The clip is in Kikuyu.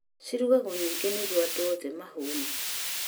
Cirugagwo nyingĩ nĩguo andũ oothe mahũne